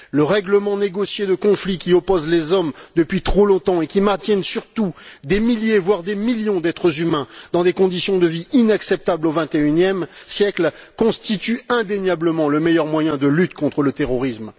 Le règlement négocié de conflits qui opposent les hommes depuis trop longtemps et qui maintiennent surtout des milliers, voire des millions d'êtres humains dans des conditions de vie inacceptables au 21e siècle, constitue indéniablement le meilleur moyen de lutte contre le terrorisme.